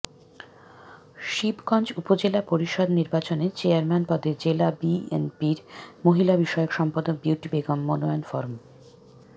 শিবগঞ্জ উপজেলা পরিষদ নির্বাচনে চেয়ারম্যান পদে জেলা বিএনপির মহিলাবিষয়ক সম্পাদক বিউটি বেগম মনোনয়ন ফরম